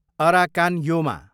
Arakan Yoma